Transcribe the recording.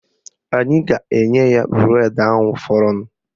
Anyị ga-enye ya bụredi ahụ fọrọnụ